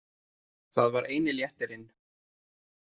Það var eini léttirinn.